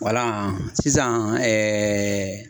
sisan